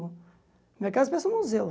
Minha casa parece um museu.